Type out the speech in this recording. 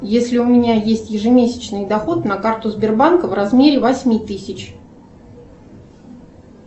если у меня есть ежемесячный доход на карту сбербанка в размере восьми тысяч